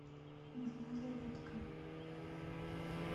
нужна зарядка